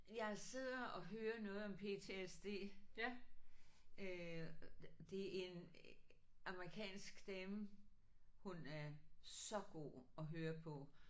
Jeg sidder og hører noget om PTSD. Øh det en amerikansk dame hun er så god at høre på